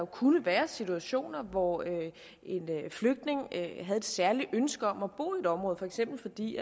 kunne være situationer hvor en flygtning havde et særligt ønske om at bo i et område for eksempel fordi